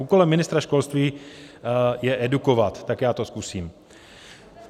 Úkolem ministra školství je edukovat, tak já to zkusím.